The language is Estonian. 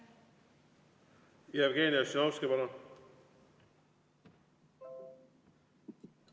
Jevgeni Ossinovski, palun!